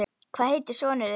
Hvað heitir sonur þinn?